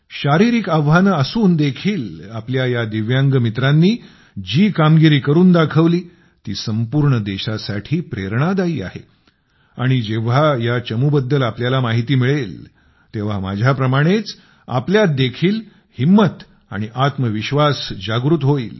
शारीरिक आव्हानं असून देखील आपल्या या दिव्यांग मित्रांनी जी कामगिरी करून दाखवली ती संपूर्ण देशासाठी प्रेरणादायी आहे आणि जेव्हा या चमूबद्दल तुम्हाला माहिती मिळेल तेव्हा माझ्याप्रमाणेच तुमच्यात देखील हिंमत आणि आत्मविश्वास जागृत होईल